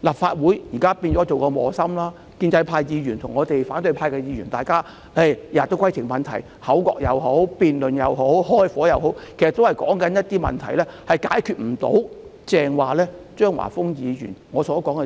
立法會現在成為磨心，建制派和反對派議員每天都提出規程問題，不論是口角、辯論或"開火"，所說的其實都不能達到張華峰議員